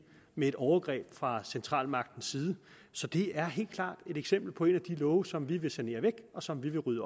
med et overgreb fra centralmagtens side så det er helt klart et eksempel på en af de love som vi vil sanere væk og som vi vil rydde